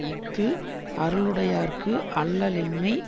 இஃது அருளுடையார்க்கு அல்லலின்மை